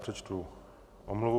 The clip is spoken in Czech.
Přečtu omluvu.